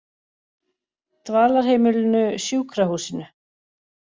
Dvalarheimilinu Sjúkrahúsinu